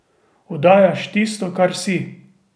Oddajaš tisto, kar si.